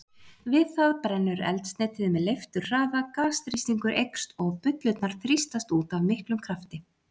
Við það brennur eldsneytið með leifturhraða, gasþrýstingur eykst og bullurnar þrýstast út af miklum krafti.